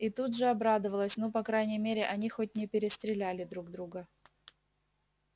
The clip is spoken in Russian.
и тут же обрадовалась ну по крайней мере они хоть не перестреляли друг друга